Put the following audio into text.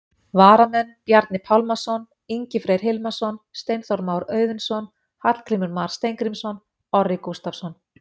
Varamenn: Bjarni Pálmason, Ingi Freyr Hilmarsson, Steinþór Már Auðunsson, Hallgrímur Mar Steingrímsson, Orri Gústafsson.